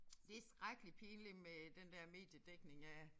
Det skrækkelig pinligt med den der mediedækning af